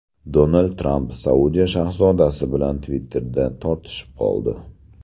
Donald Tramp Saudiya shahzodasi bilan Twitter’da tortishib qoldi.